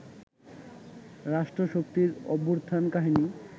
রাষ্ট্রশক্তির অভ্যুত্থান-কাহিনী